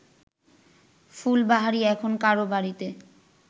ফুলবাহারি এখন কারও বাড়িতে